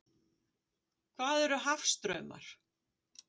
Hvað eru hafstraumar?